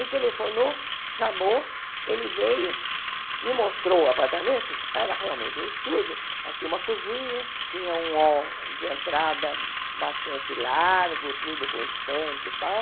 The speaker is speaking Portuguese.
Telefonou, chamou, ele veio, me mostrou o apartamento, era realmente um estúdio, mas tinha uma cozinha, tinha um hall de entrada bastante largo, tudo com estante e tal.